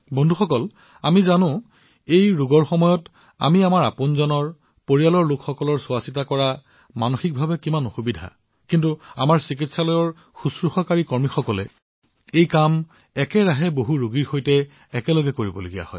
বন্ধুসকল আমি সকলোৱে জানো যে আমাৰ বাবে মানসিকভাৱে নিজৰ আমাৰ পৰিয়ালৰ যত্ন লোৱাটো কিমান কঠিন কিন্তু আমাৰ চিকিৎসালয়ৰ নাৰ্চিং কৰ্মচাৰীসকলে একেটা কাম একেলগে বহুতো ৰোগীৰ বাবে কৰিব লাগিব